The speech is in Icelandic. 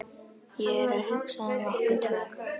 Ég er að hugsa um okkur tvö.